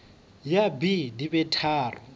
ya b di be tharo